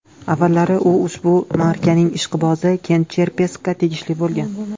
Avvallari u ushbu markaning ishqibozi Kent Cherpeskka tegishli bo‘lgan.